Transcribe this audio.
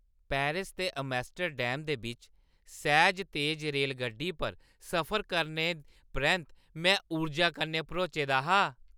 Paris ते Amsterdam दे बिच्च सैह्ज, तेज रेलगड्डी पर सफर करने परैंत्त में ऊर्जा कन्नै भरोचे दा हा।